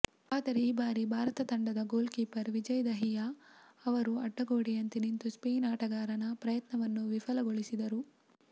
ಆದರೆ ಈ ಬಾರಿ ಭಾರತ ತಂಡದ ಗೋಲ್ಕೀಪರ್ ವಿಜಯ್ ದಹಿಯಾ ಅವರು ಅಡ್ಡಗೋಡೆಯಂತೆ ನಿಂತು ಸ್ಪೇನ್ ಆಟಗಾರನ ಪ್ರಯತ್ನವನ್ನು ವಿಫಲಗೊಳಿಸಿದರು